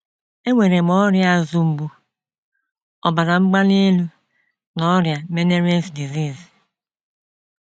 “ Enwere m ọrịa azụ mgbu, ọbara mgbali elu, na ọrịa Meniere’s disease.